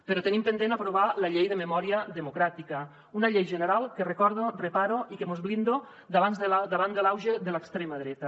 però tenim pendent aprovar la llei de memòria democràtica una llei general que ho recordo repara i mos blinda davant de l’auge de l’extrema dreta